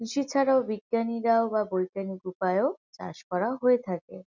কৃষি ছাড়াও বিজ্ঞানীরাও বা বৈজ্ঞানিক উপায়ও চাষ করা হয়ে থাকে ।